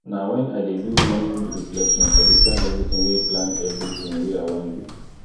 na wen i dey do morning reflection i dey plan everytin wey plan everytin wey i wan do